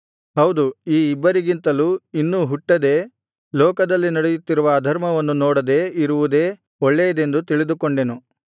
ಹೌದು ಈ ಇಬ್ಬರಿಗಿಂತಲೂ ಇನ್ನೂ ಹುಟ್ಟದೇ ಲೋಕದಲ್ಲಿ ನಡೆಯುತ್ತಿರುವ ಅಧರ್ಮವನ್ನು ನೋಡದೆ ಇರುವುದೇ ಒಳ್ಳೆಯದೆಂದು ತಿಳಿದುಕೊಂಡೆನು